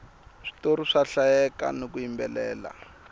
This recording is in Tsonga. switori swa hlayeka hiku yimbelela